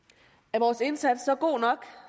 er vores indsats så